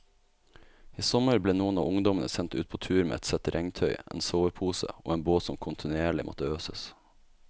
I sommer ble noen av ungdommene sendt ut på tur med ett sett regntøy, en sovepose og en båt som kontinuerlig måtte øses.